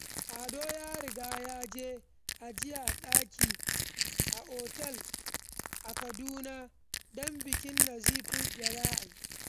Ado ya riga ya yi ajiyar daki a otal a Kaduna don bikin Nazifi da za a yi.